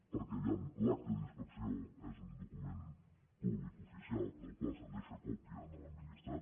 perquè vejam l’acta d’inspecció és un document públic oficial del que se’n deixa còpia a l’administrat